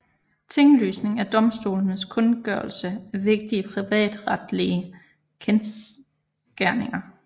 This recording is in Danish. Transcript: Tinglysning er domstolenes kundgørelse af vigtige privatretlige kendsgerninger